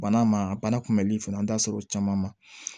Bana ma a bana kunbɛli fana an da sera o caman ma